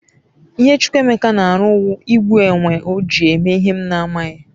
ihe Chukwuma n'aru wu igbu enwe oji eme ihe m n'aghi